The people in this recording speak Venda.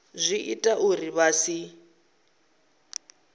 zwi ita uri vha si